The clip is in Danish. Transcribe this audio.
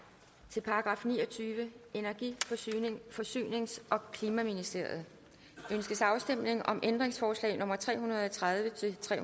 til § niogtyvende energi forsynings og klimaministeriet ønskes afstemning om ændringsforslag nummer tre hundrede og tredive til tre